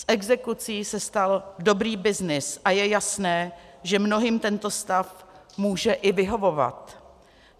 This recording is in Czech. Z exekucí se stal dobrý byznys a je jasné, že mnohým tento stav může i vyhovovat.